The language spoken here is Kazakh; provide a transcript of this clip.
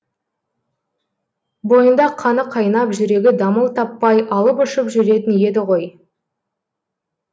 бойында қаны қайнап жүрегі дамыл таппай алып ұшып жүретін еді ғой